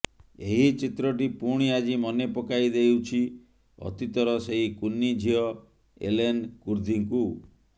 ଏହି ଚିତ୍ରଟି ପୁଣି ଆଜି ମନେ ପକାଇ ଦେଉଛି ଅତୀତର ସେଇ କୁନି ଝିଅ ଏଲେନ୍ କୁର୍ଦ୍ଦିକୁ